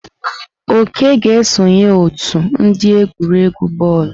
Oke ga-esonye ótù ndi egwuregwu bọọlụ.